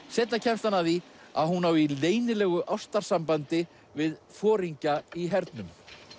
seinna kemst hann að því að hún á í leynilegu ástarsambandi við foringja í hernum